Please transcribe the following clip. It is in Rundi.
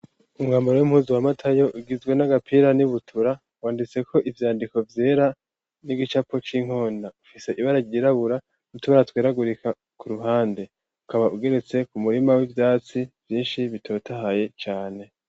umwamaro w'impuzi wa matayo ugizwe n'agapira n'ibutura wanditse ko ivyandiko byera n'igicapo c'inkonda ufise ibara gyirabura n'itubara tweragurika ku ruhande ukaba ugeretse ku murima w'ibyatsi byinshi bitotahaye cyane